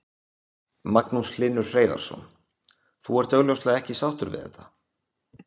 Magnús Hlynur Hreiðarsson: Þú ert augljóslega ekki sáttur við þetta?